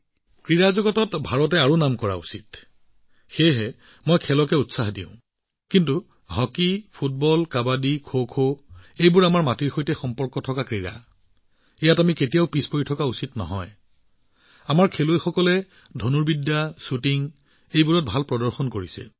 ভাৰতে ক্ৰীড়াৰ জগতখনত বহুত উজ্বলি উঠিব লাগে আৰু সেইবাবেই মই এইবোৰক বহুত প্ৰচাৰ কৰিছো কিন্তু হকী ফুটবল কাবাডী খোখো এইবোৰ আমাৰ মাটিৰ লগত জড়িত খেল ইয়াত আমি কৰিব লাগিব আমি পিছ পৰি থকা উচিত নহয় আৰু মই দেখিছোঁ যে আমাৰ মানুহে ধনুৰ্বিদ আৰু শ্বুটিঙত ভাল ফলাফল দেখুৱাইছে